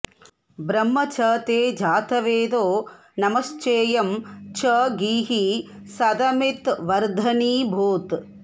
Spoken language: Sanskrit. ब्रह्म॑ च ते जातवेदो॒ नम॑श्चे॒यं च॒ गीः सद॒मिद्वर्ध॑नी भूत्